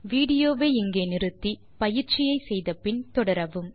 விடியோவை இங்கே இடைநிறுத்தி கொடுத்த பயிற்சியை செய்தபின் தொடரவும்